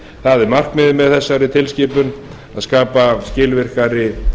það er markmiðið með þessari tilskipun að skapa skilvirkari